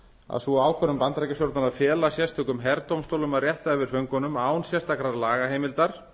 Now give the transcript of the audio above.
að sú ákvörðun bandaríkjastjórnar að fela sérstökum herdómstólum að rétta yfir föngunum án sérstakrar lagaheimildar